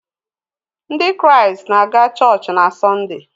Ndị Kraịst na-aga chọọchị na Sọnde.